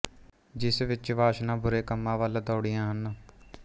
ਜਿਸ ਵਿਚ ਵਾਸ਼ਨਾ ਬੁਰੇ ਕੰਮਾਂ ਵਲ ਦੌੜਦੀਆਂ ਹਨ